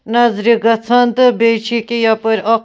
.نظرِگژھان تہٕ بیٚیہِ چھ یہِ کیٛاہ یپٲرۍ اکھ